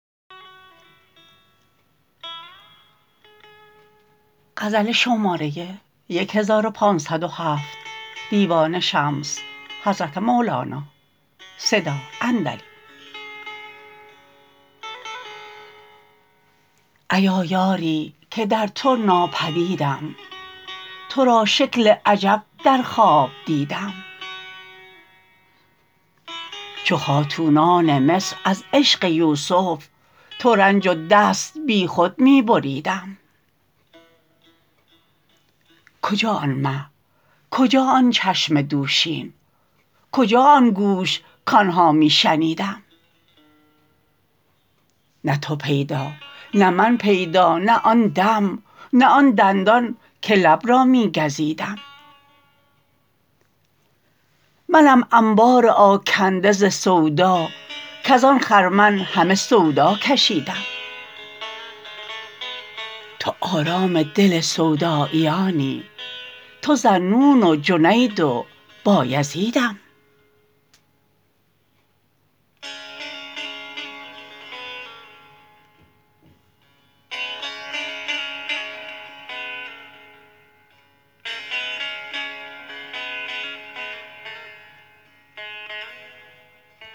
ایا یاری که در تو ناپدیدم تو را شکل عجب در خواب دیدم چو خاتونان مصر از عشق یوسف ترنج و دست بیخود می بریدم کجا آن مه کجا آن چشم دوشین کجا آن گوش کان ها می شنیدم نه تو پیدا نه من پیدا نه آن دم نه آن دندان که لب را می گزیدم منم انبار آکنده ز سودا کز آن خرمن همه سودا کشیدم تو آرام دل سوداییانی تو ذاالنون و جنید و بایزیدم